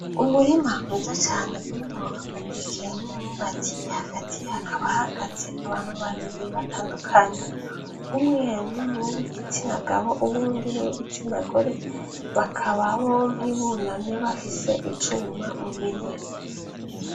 Umurima mwiza cane urimwo amateke n'imyumbati, hagati hakaba hahagaze abantu babiri batandukanye, umwe n'uwigitsina gabo uwundi n'uwigitsina gore , bakaba bompi bunamye bafise icuma mu minwe.